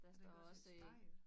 Er der ikke også et spejl